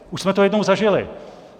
Už jsme to jednou zažili.